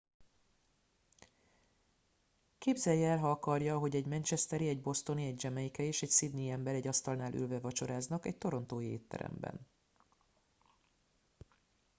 képzelje el ha akarja ahogy egy manchesteri egy bostoni egy jamaicai és egy sydney i ember egy asztalnál ülve vacsoráznak egy torontói étteremben